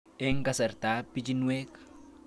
Eng' kasartab pichinwek